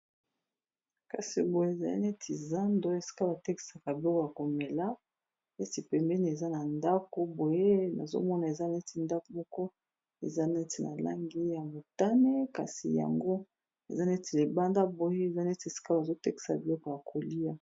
Kasi boye ezali neti zando esika batekisaka biloko ya komela neti pembeni eza na ndako boye nazomona eza neti ndako moko eza neti na langi ya motane kasi yango eza neti libanda boye eza neti esika bazotekisa biloko ya kolia.